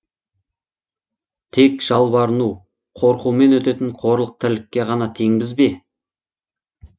тек жалбарыну қорқумен өтетін қорлық тірлікке ғана теңбіз бе